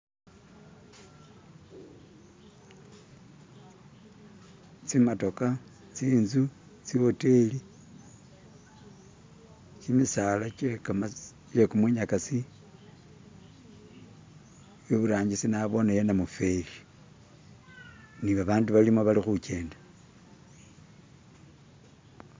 Tsimatoka, tsinzu, tsiwoteli, kimisala kyekumunyakaasi, iburangisi nabooneyo namufeli ne babandu balimo bali khukenda.